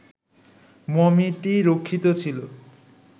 মমিটি রক্ষিত ছিল